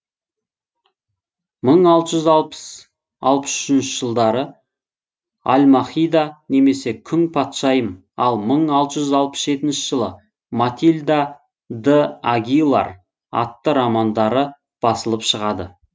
мың алты жүз алпыс алпыс үшінші жылдары альмахида немесе күң патшайым ал мың алты жүз алпыс жетінші жылы матильда д агилар атты романдары басылып шығады